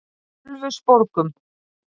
Ölfusborgum